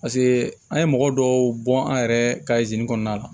Paseke an ye mɔgɔ dɔw bɔn an yɛrɛ ka kɔnɔna la